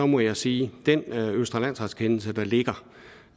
må jeg sige at den østre landsrets kendelse der ligger